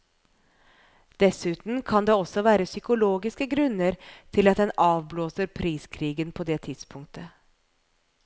Dessuten kan det også være psykologiske grunner til at en avblåser priskrigen på det tidspunktet.